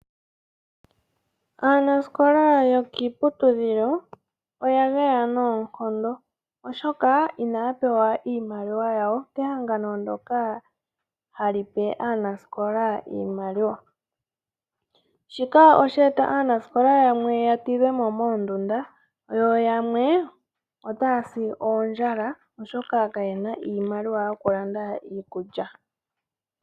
Aanasikola yokiiputudhilo oya geya noonkondo oshoka inaya pewa iimaliwa yawo kehangano ndyoka ha li pe aanasikola iimaliwa. Shika osha e ta aanasikola yamwe ya tidhwe mo moondunda, yo yamwe otaya si kondjala oshoka ka ye na iimaliwa yoku landa iikulya.